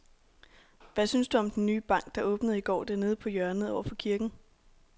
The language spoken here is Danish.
Hvad synes du om den nye bank, der åbnede i går dernede på hjørnet over for kirken?